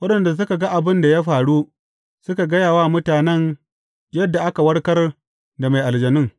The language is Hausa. Waɗanda suka ga abin da faru, suka gaya wa mutanen yadda aka warkar da mai aljanun.